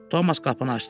Tomas qapını açdı.